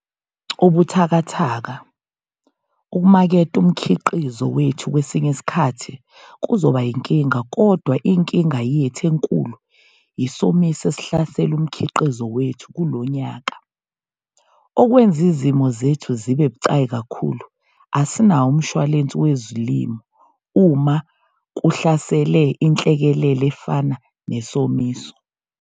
Ubuthakathaka, ukumaketha umkhiqizo wethu kwesinye isikhathi kuzoba yinkinga kodwa inkinga yethu enkulu isomiso esihlasele umkhiqizo wethu kulo nyaka. Okwenza izimo zethu zibe bucayi kakhulu asinawo umshwalensi wezilimo uma kuhlasele inhlekelele efana nesomiso.